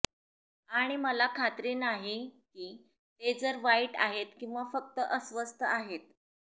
आणि मला खात्री नाही की ते जर वाईट आहेत किंवा फक्त अस्वस्थ आहेत